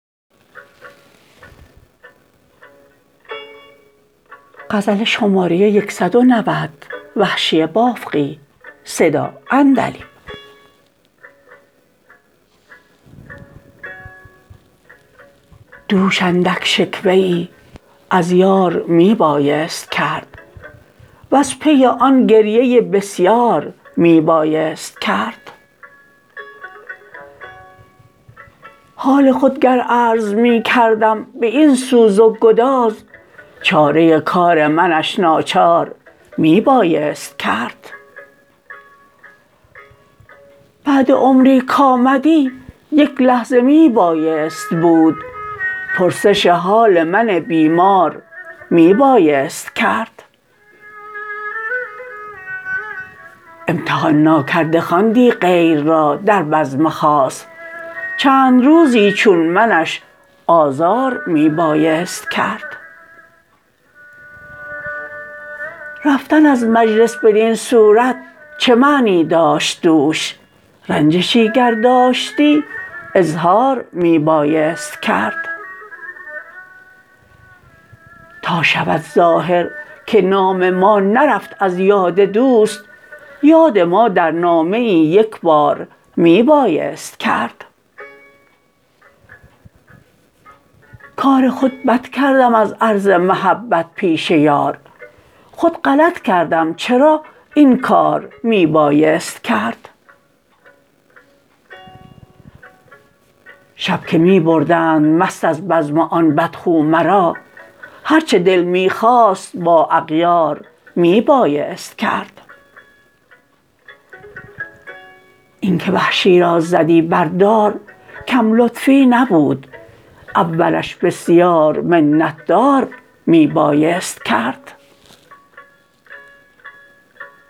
دوش اندک شکوه ای از یار می بایست کرد و ز پی آن گریه ای بسیار می بایست کرد حال خود گر عرض می کردم به این سوز و گداز چاره کار منش ناچار می بایست کرد بعد عمری کامدی یک لحظه می بایست بود پرسش حال من بیمار می بایست کرد امتحان ناکرده خواندی غیر را در بزم خاص چند روزی چون منش آزار می بایست کرد رفتن از مجلس بدین صورت چه معنی داشت دوش رنجشی گر داشتی اظهار می بایست کرد تا شود ظاهر که نام ما نرفت از یاد دوست یاد ما در نامه ای یک بار می بایست کرد کار خود بد کردم از عرض محبت پیش یار خود غلط کردم چرا این کار می بایست کرد شب که می بردند مست از بزم آن بدخو مرا هر چه دل می خواست با اغیار می بایست کرد اینکه وحشی را زدی بر دار کم لطفی نبود اولش بسیار منت دار می بایست کرد